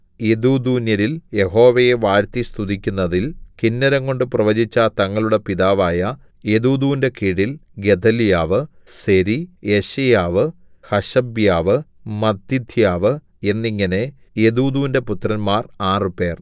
യെദൂഥൂന്യരിൽ യഹോവയെ വാഴ്ത്തിസ്തുതിക്കുന്നതിൽ കിന്നരംകൊണ്ടു പ്രവചിച്ച തങ്ങളുടെ പിതാവായ യെദൂഥൂന്റെ കീഴിൽ ഗെദല്യാവ് സെരി യെശയ്യാവ് ഹശബ്യാവ് മത്ഥിഥ്യവ് എന്നിങ്ങനെ യെദൂഥൂന്റെ പുത്രന്മാർ ആറുപേർ